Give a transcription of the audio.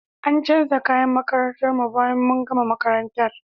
An canja kayan makarantar mu bayan mun gama makarantar.